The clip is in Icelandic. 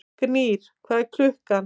Gnýr, hvað er klukkan?